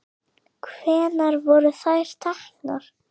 Hvenær voru þær teknar?